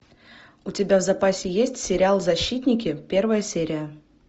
у тебя в запасе есть сериал защитники первая серия